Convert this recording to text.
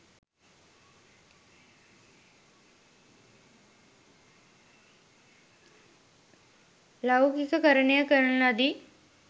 ලෞකිකකරණය කරන ලදී